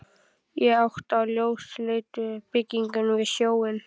Í átt að ljósleitu byggingunni við sjóinn.